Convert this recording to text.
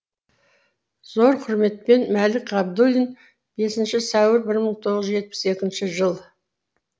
зор құрметпен мәлік ғабдуллин бесінші сәуір бір мың тоғыз жүз жетпіс екінші жыл